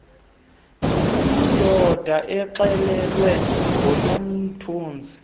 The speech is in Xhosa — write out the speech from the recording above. yiindoda axelelwe ngunomthunzi